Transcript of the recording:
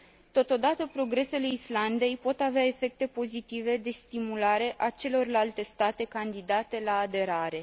Totodată, progresele Islandei pot avea efecte pozitive de stimulare a celorlalte state candidate la aderare.